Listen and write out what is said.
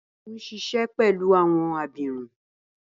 Balogun n ṣiṣẹ pẹlu awọn abirun